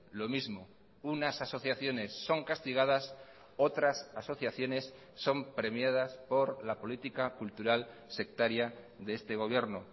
lo mismo unas asociaciones son castigadas otras asociaciones son premiadas por la política cultural sectaria de este gobierno